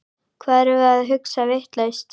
Hvað erum við að hugsa vitlaust?